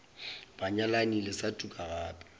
banyalani le sa tuka gape